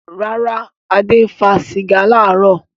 Rárá, Adé fa sìgá láàárọ̀.